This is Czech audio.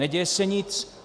Neděje se nic.